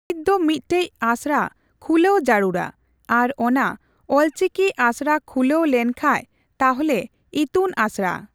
ᱱᱤᱛ ᱫᱚ ᱢᱤᱫᱴᱮᱡ ᱟᱥᱲᱟ ᱠᱷᱩᱞᱟᱹᱣ ᱡᱟᱨᱩᱲᱼᱟ ᱾ ᱟᱨ ᱚᱱᱟ ᱚᱞᱪᱤᱠᱤ ᱟᱥᱲᱟ ᱠᱷᱩᱞᱟᱹᱣ ᱞᱮᱱ ᱠᱷᱟᱡ ᱛᱟᱦᱞᱮ ᱤᱛᱩᱱ ᱟᱥᱲᱟ᱾